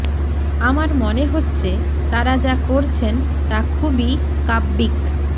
আমার মনে হচ্ছে তাঁরা যা করছেন তা খুবই কাব্যিক